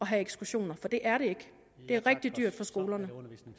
have ekskursioner for det er det ikke det er rigtig dyrt for skolerne